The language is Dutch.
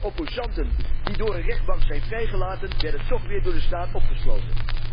Opposanten die door een rechtbank zijn vrijgelaten, werden toch weer door de staat opgesloten.